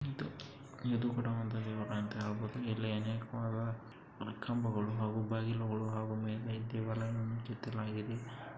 ಇದು ಕೋಡಾ ಒಂದ ಇಲ್ಲೆ ಅನೇಕ ಕಂಬಗಳು ಹಾಗು ಬಾಗಿಲಗಳು ಹಾಗು